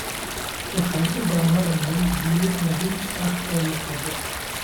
Waxaan u baahanahay biyo nadiif ah oo la cabbo.